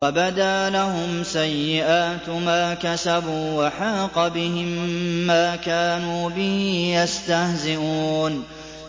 وَبَدَا لَهُمْ سَيِّئَاتُ مَا كَسَبُوا وَحَاقَ بِهِم مَّا كَانُوا بِهِ يَسْتَهْزِئُونَ